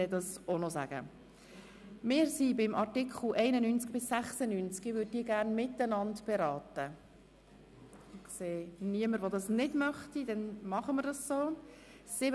Falls er nochmals mit einer Klasse kommt, werden wir ihm dies auch noch sagen.